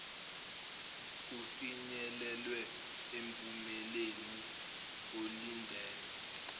kufinyelelwe emphumeleni olindelwe